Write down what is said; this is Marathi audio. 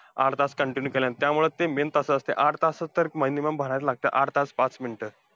आठ तास continue केलंय, त्यामुळं ते main तासाचं असतंय आठ तास तर minimum भरायलाच लागतंय. आठ तास पाच minute.